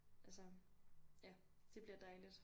Altså det bliver dejligt